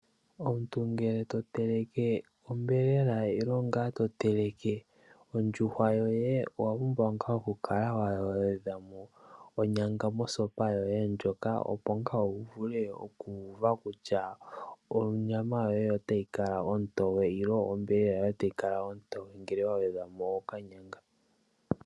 Omuntu ngele to teleke onyama nenge ngaa to teleke ondjuhwa yoye, owa pumbwa oku kala wa gwedhwa onyanga mosopa yoye moka, opo wu ngaa wu uve kutya onyama yoye otayi kala ontoye nenge itayi kala ontoye ngele wa gwedhwa mo okanyanga.